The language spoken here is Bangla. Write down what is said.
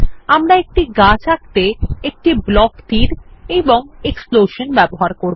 আমরা একটি গাছ আঁকতে একটি ব্লক তীর এবং একটি এক্সপ্লোশন ব্যবহার করব